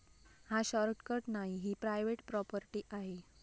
हा शॉर्टकट नाही, ही प्रायव्हेट प्रॉपर्टी आहे.